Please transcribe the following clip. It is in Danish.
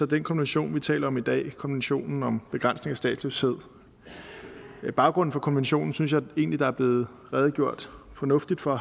den konvention vi taler om i dag konventionen om begrænsning af statsløshed baggrunden for konventionen synes jeg egentlig der er blevet redegjort fornuftigt for